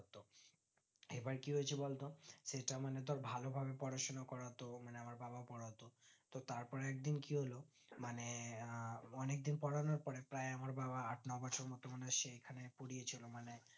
এবার কি হয়েছে বলতো সে তেমনি ধর ভালোভাবে পড়াশনা করাতো মানে আমার বাবা পড়াতো তো তার পরে একদিন কি হলো মানে আহ অনিক দিন পোড়ানোর পরে প্রায় আমার বাবা আট-নয় বছর মতো সেখানে পরিয়ে ছিল মানে